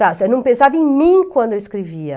Eu não pensava em mim quando eu escrevia.